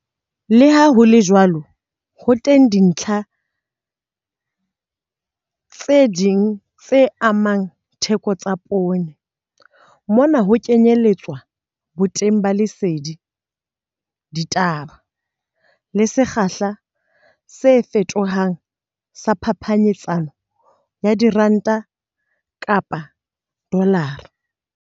Le ha ho le jwalo, ho teng dintlha tse ding tse amang ditheko tsa poone, mona ho kenyeletswa boteng ba lesedi, ditaba le sekgahla se fetohang sa phapanyetsano ya ranta kapa dolara.